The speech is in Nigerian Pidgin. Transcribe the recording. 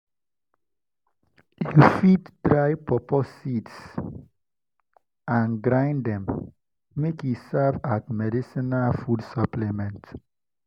you fit dry pawpaw seeds and grind them make e serve as medicinal food supplement.